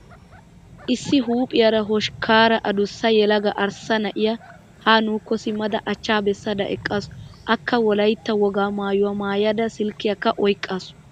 Issi huuphphiyaara hoshkkaara adussa yelaga arssa na'iyaa ha nuukko simmada achchaa bessada eqqaasu. Akka wolaytta wogaa maayyuwaa maayyada silkkiyaakka oyiqqaasu.